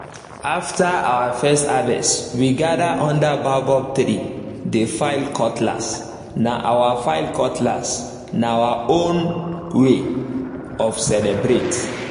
after our first harvest we gather under baobab tree dey file cutlass—na our file cutlass—na our own way of celebrate